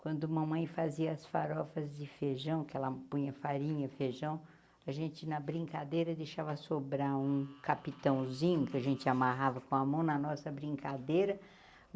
Quando mamãe fazia as farofas de feijão, que ela punha farinha e feijão, a gente, na brincadeira, deixava sobrar um capitãozinho, que a gente amarrava com a mão na nossa brincadeira.